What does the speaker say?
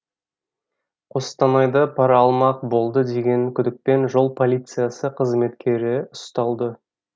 қостанайда пара алмақ болды деген күдікпен жол полициясы қызметкері ұсталды